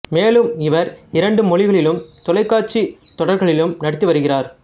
மேலும் இவர் இரண்டு மொழிகளிலும் தொலைக்காட்சித் தொடர்களிலும் நடித்து வருகிறார்